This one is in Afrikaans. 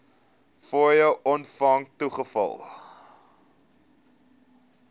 fooie ontvang toegeval